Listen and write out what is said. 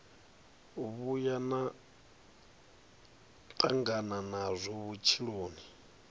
vhuya na tangana nazwo vhutshiloni